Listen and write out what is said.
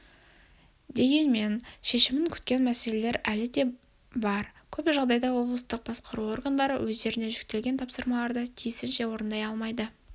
дегенмен шешімін күткен мәселелер әлі де бар көп жағдайда облыстық басқару органдары өздеріне жүктелген тапсырмаларды тиісінше орындай алмайды